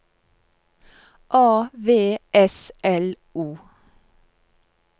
A V S L O